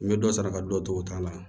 N bɛ dɔ sara ka dɔ to o ta la